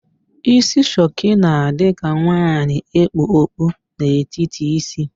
Ísí shuku na-adị ka nwaanyị e kpu okpu n'etiti ísí ya.